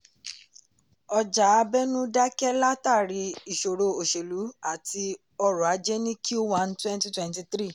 ọjà abẹ̀nú dákẹ́ látàrí ìṣòro oselú àti ọrọ̀ ajé ní q one thwenty twenty three.